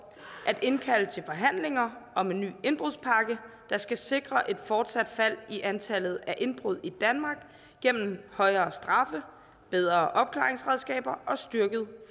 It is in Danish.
at indkalde til forhandlinger om en ny indbrudspakke der skal sikre et fortsat fald i antallet af indbrud i danmark gennem højere straffe bedre opklaringsredskaber og styrket